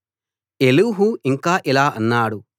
Elihu ఇంకా ఇలా అన్నాడు